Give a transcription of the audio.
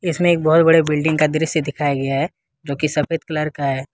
इसमें बहुत बड़े बिल्डिंग का दृश्य दिखाया गया है जो की सफेद कलर का है।